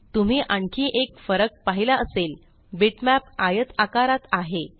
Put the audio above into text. तुम्ही आणखी एक फरक पहिला असेल बिटमॅप आयत आकारात आहे